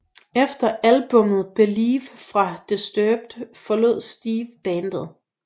Efter albummet Believe fra Disturbed forlod Steve bandet